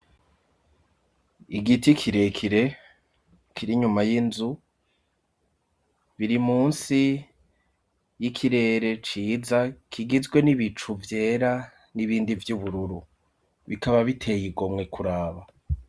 igiti kirekire kiri nyuma y'inzu biri munsi y'ikirere ciza kigizwe n'ibicu vyera n'ibindi vy'ubururu bikaba biteye igomwe kuraba